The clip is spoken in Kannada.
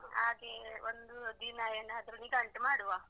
ಹಾಗೆ ಒಂದು ದಿನ ಏನಾದ್ರು ನಿಗಂಟು ಮಾಡುವ.